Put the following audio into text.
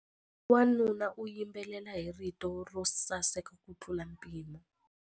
Wanuna u yimbelela hi rito ro saseka kutlula mpimo.